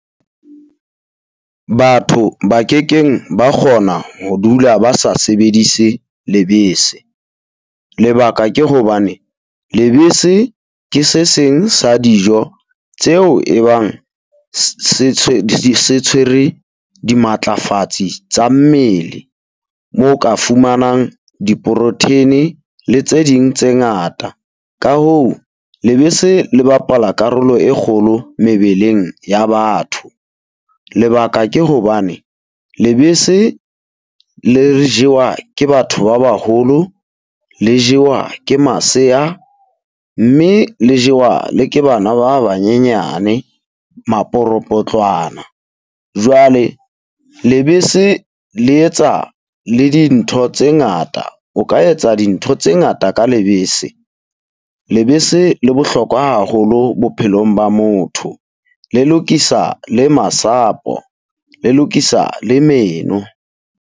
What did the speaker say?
Batho ba kekeng ba kgona ho dula ba sa sebedise lebese, lebaka ke hobane lebese ke se seng sa dijo tseo e bang se tshwere dimatlafatsi tsa mmele. Moo ka fumanang di-protein-e le tse ding tse ngata. Ka hoo, lebese le bapala karolo e kgolo mebeleng ya batho. Lebaka ke hobane lebese le re jewa ke batho ba baholo le jewa ke masea, mme le ke bana ba banyenyane maporopotlwana. Jwale lebese le etsa le dintho tse ngata, o ka etsa dintho tse ngata ka lebese. Lebese le bohlokwa haholo bophelong ba motho, le lokisa le masapo le lokisa le meno.